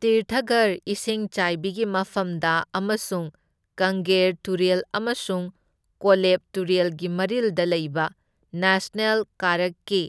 ꯇꯤꯔꯊꯒꯔ ꯏꯁꯤꯡ ꯆꯥꯏꯕꯤꯒꯤ ꯃꯐꯝꯗ ꯑꯃꯁꯨꯡ ꯀꯪꯒꯦꯔ ꯇꯨꯔꯦꯜ ꯑꯃꯁꯨꯡ ꯀꯣꯂꯦꯕ ꯇꯨꯔꯦꯜꯒꯤ ꯃꯔꯤꯜꯗ ꯂꯩꯕ ꯅꯦꯁꯅꯦꯜ ꯀꯥꯔꯛꯀꯤ